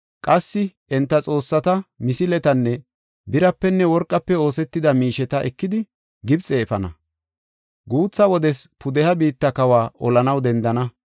Qassi enta xoossata, misiletanne birapenne worqafe oosetida miisheta ekidi, Gibxe efana. Guutha wodes pudeha biitta kawa olanaw dendenna.